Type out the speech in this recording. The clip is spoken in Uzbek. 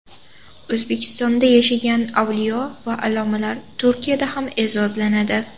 O‘zbekistonda yashagan avliyo va allomalar Turkiyada ham e’zozlanadi.